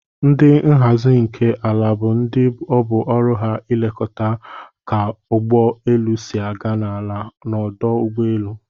Ndi nhazi nke ala bu ndi obu ọrụ ha elekọta ka ụgbọ elu si aga n'ala n'ọdụ ụgbọ elu.